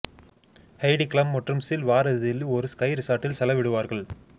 Haiti Klum மற்றும் Seal வார இறுதியில் ஒரு ஸ்கை ரிசார்ட்டில் செலவிடுவார்கள்